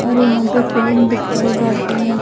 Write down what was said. और यहां पे फिल्म दिखाई जाती है।